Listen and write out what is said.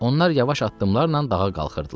Onlar yavaş addımlarla dağa qalxırdılar.